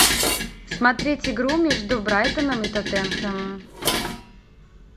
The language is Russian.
смотреть игру между брайтоном и тоттенхэмом